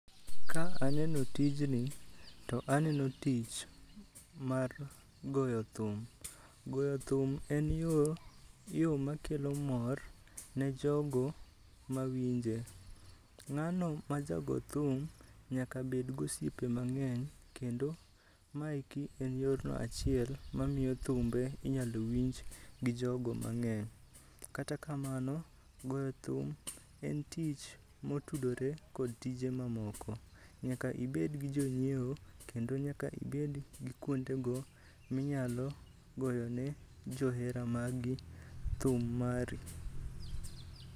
Ka aneno tijni to aneno tich mar goyo thum. Goyo thum en yor, yo makelo mor ne jogo mawinje. Ng'ano maja go thum nyakabed gosiepe mang'eny, kendo maeki en yorno achiel mamiyo thum inyalo winj gi jogo mang'eny. Kata kamano, goyo thum en tich motudore kod tije mamoko. Nyaka ibed gi jonyiewo, kendo nyaka ibed gi kuonde go minyalo goyone johera magi thum mari.